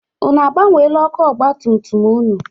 Unu agbanweela ọkụ ọgbatumtum ụnụ?